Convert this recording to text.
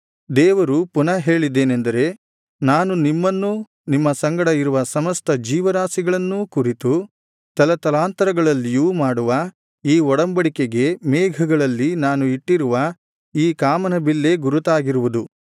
ದೇವರು ಪುನಃ ಹೇಳಿದ್ದೇನಂದರೆ ನಾನು ನಿಮ್ಮನ್ನೂ ನಿಮ್ಮ ಸಂಗಡ ಇರುವ ಸಮಸ್ತ ಜೀವರಾಶಿಗಳನ್ನೂ ಕುರಿತು ತಲತಲಾಂತರಗಳಲ್ಲಿಯೂ ಮಾಡುವ ಈ ಒಡಂಬಡಿಕೆಗೆ ಮೇಘಗಳಲ್ಲಿ ನಾನು ಇಟ್ಟಿರುವ ಈ ಕಾಮನಬಿಲ್ಲೇ ಗುರುತಾಗಿರುವುದು